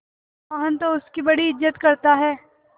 मोहन तो उसकी बड़ी इज्जत करता है